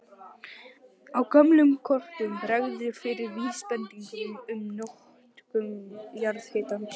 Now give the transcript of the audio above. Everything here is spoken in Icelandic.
Á gömlum kortum bregður fyrir vísbendingum um notkun jarðhitans.